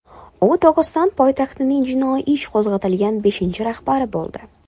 U Dog‘iston poytaxtining jinoiy ish qo‘zg‘atilgan beshinchi rahbari bo‘ldi.